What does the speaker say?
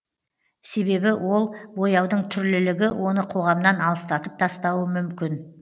себебі ол бояудың түрлілігі оны қоғамнан алыстатып тастауы мүмкін